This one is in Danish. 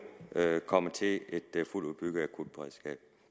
komme til et fuldt udbygget akutberedskab